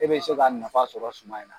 E be se ka nafa sɔrɔ suman in na.